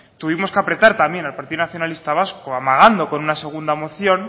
tuvimos que apretar también al partido nacionalistas vasco amagando con una segunda moción